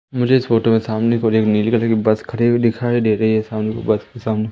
मुझे इस फोटो में सामने की ओर एक नीले कलर की बस खड़ी हुई दिखाई दे रही है सामने बस के सामने--